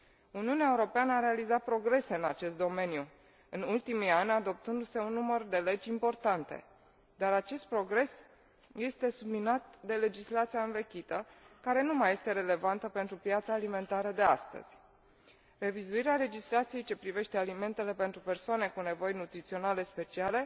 Uniunea Europeană a realizat progrese în acest domeniu, în ultimii ani adoptându se un număr de legi importante, dar acest progres este subminat de legislația învechită, care nu mai este relevantă pentru piața alimentară de astăzi. Revizuirea legislației ce privește alimentele pentru persoanele cu nevoi nutriționale speciale